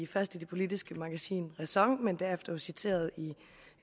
først i det politiske magasin ræson og derefter jo citeret i